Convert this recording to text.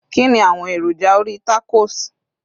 kini awọn èròjà orí tacos